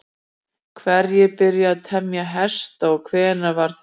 Hverjir byrjuðu að temja hesta og hvenær var það?